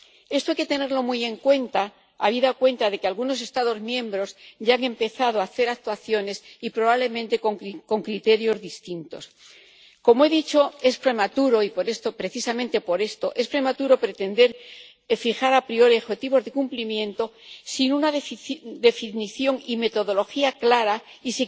Esto hay que tenerlo muy en cuenta, habida cuenta de que algunos Estados miembros ya han empezado a hacer actuaciones y, probablemente, con criterios distintos. Como he dicho, es prematuro y por esto, precisamente por esto, es prematuro pretender fijar a priori objetivos de cumplimiento sin una definición y una metodología claras y